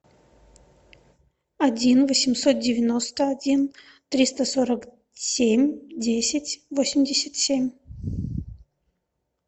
один восемьсот девяносто один триста сорок семь десять восемьдесят семь